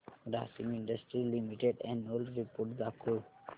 Grasim Industries Limited annual report दाखव